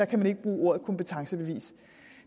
kan man ikke bruge ordet kompetencebevis